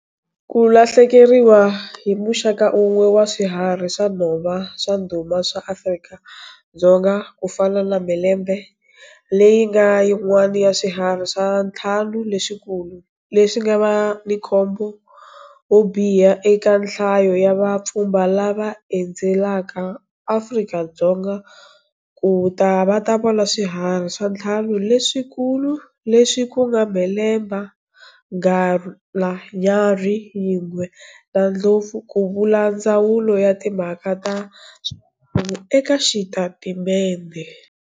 Ku lahlekeriwa hi muxaka wun'we wa swiharhi swa nhova swa ndhuma swa Afrika-Dzonga ku fana na mhelembe leyi nga yin'wana ya Swiharhi swa Ntlhanu leswikulu leswi nga va na nkhumbo wo biha eka nhlayo ya vapfhumba lava endzelaka Afrika-Dzonga ku ta va ta vona Swiharhi swa Ntlhanu leswikulu, leswi ku nga mhelembe, nghala, nyarhi yingwe na ndlopfu, ku vula Ndzawulo ya Timhaka ta swa Mbangu eka xitatimente.